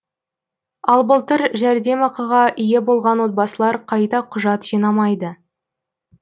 ал былтыр жәрдемақыға ие болған отбасылар қайта құжат жинамайды